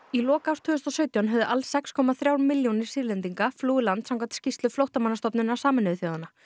í lok árs tvö þúsund og sautján höfðu alls sex komma þrjár milljónir Sýrlendinga flúið land samkvæmt skýrslu Flóttamannastofnunar Sameinuðu þjóðanna